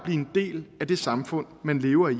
en del af det samfund man lever i